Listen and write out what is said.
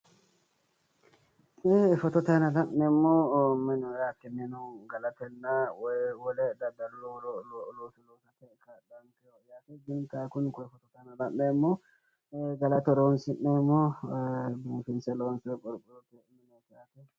Tee fotote aana la'neemmohu menooriya minu galatenna wole daddalu looso loosate kaa'laankeho yaate. Gini kayi kuni koye fotote la'neemmohu galate horoonsi'neemmo biifinse loonsoyi qorqorrote mineeti.